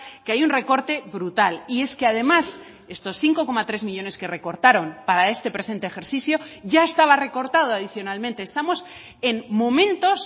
que hay un recorte brutal y es que además estos cinco coma tres millónes que recortaron para este presente ejercicio ya estaba recortado adicionalmente estamos en momentos